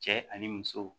Cɛ ani muso